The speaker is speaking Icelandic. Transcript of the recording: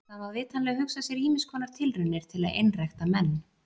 Það má vitanlega hugsa sér ýmiss konar tilraunir til að einrækta menn.